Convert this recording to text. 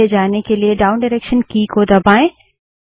पीछे जाने के लिए डाउन डायरेक्सन की की दबायें